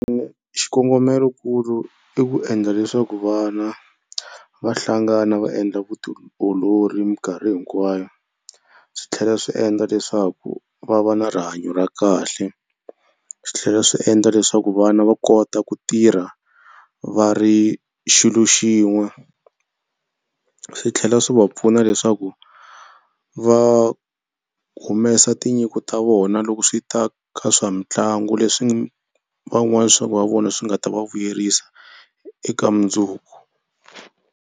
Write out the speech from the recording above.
Xikongomelokulu i ku endla leswaku vana va hlangana va endla vutiolori mikarhi hinkwayo. Swi tlhela swi endla leswaku va va na rihanyo ra kahle. Swi tlhela swi endla leswaku vana va kota ku tirha va ri xilo xin'we. Swi tlhela swi va pfuna leswaku va humesa tinyiko ta vona loko swi ta ka swa mitlangu leswi van'wana swa va vona swi nga ta va vuyerisa eka mundzuku.